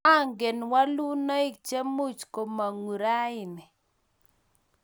angen wolunoik che much komongu raini.